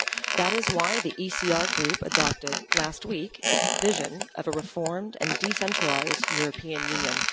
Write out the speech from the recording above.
That is why the ECR Group adopted last week its vision of a reformed and decentralised European Union.